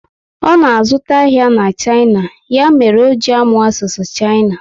Ọ na azụta ahịa na China, ya mere o ji amụ asụsụ China